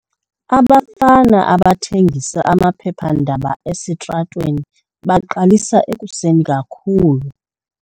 Abafana abathengisa amaphephandaba esitratweni baqalisa ekuseni kakhulu.